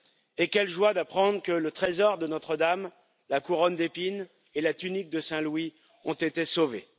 Et quelle joie d'apprendre que le trésor de Notre Dame, la couronne d'épines et la tunique de Saint Louis ont été sauvés!